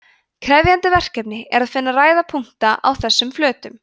krefjandi verkefni er að finna ræða punkta á þessum flötum